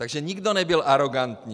Takže nikdo nebyl arogantní.